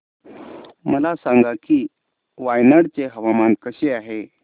मला सांगा की वायनाड चे हवामान कसे आहे